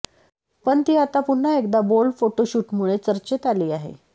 पण ती आता पुन्हा एकदा बोल्ड फोटोशूटमुळे चर्चेत आली आहे